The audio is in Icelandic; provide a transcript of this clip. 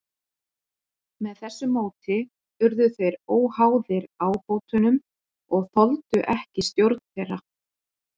Með þessu móti urðu þeir óháðir ábótunum og þoldu ekki stjórn þeirra.